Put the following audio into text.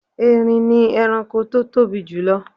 Erin ni ẹranko tó tóbi julọ.